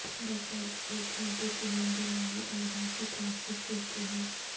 دوپہر کو ایک گھنٹے کی نیند دماغی امراض سے تحفظ دیتی ہے